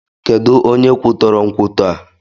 Kedụ onye kwutọrọ nkwụtọ a?